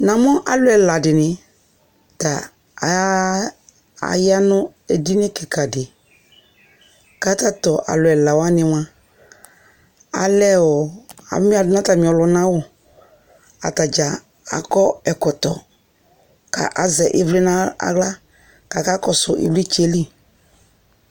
Namʋ alʋ ɛla dιnι ta aa aya nʋ edini kιka dι, kʋ tatʋ alʋ ɛla wanι mʋa, alɛ ɔɔ amιa dʋ nʋ atamι ɔlʋna awʋ Ata dza akɔ ɛkɔtɔ, kʋ azɛ ιvlι nʋ aɣla, kʋ aka kɔsʋ ιvlιtsɛ yɛ li